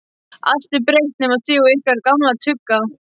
Allt er breytt nema þið og ykkar gamla tugga.